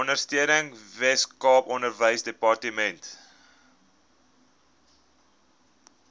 ondersteuning weskaap onderwysdepartement